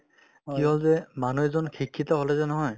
কিয় যে মানুহ এজন শিক্ষিত হ'লে যে নহয়